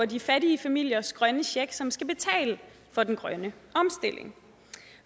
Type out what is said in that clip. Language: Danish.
de fattige familiers grønne check som skal betale for den grønne omstilling